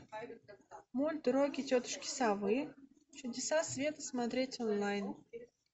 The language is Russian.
мульт уроки тетушки совы чудеса света смотреть онлайн